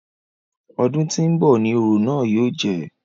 Ọdún tí ń bọ̀ ni orò náà yóò jẹ́.